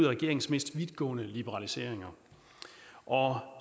regeringens mest vidtgående liberaliseringer og